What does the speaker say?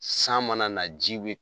San mana na ji bɛ